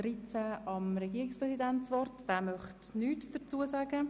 Der Regierungspräsident verzichtet ebenfalls auf das Wort.